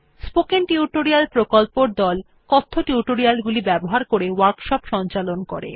spoken tutorial প্রকল্পর দল কথ্য টিউটোরিয়াল গুলি ব্যবহার করে ওয়ার্কশপ সঞ্চালন করে